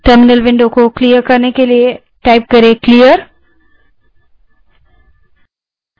terminal window को clear करने के लिए clear type करें